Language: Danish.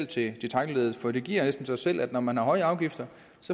til detailleddet for det giver næsten sig selv at når man har høje afgifter